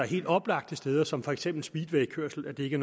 helt oplagte ting som for eksempel speedwaykørsel ikke